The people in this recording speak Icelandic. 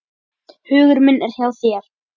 Hugur minn er hjá þér.